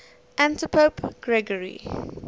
antipope gregory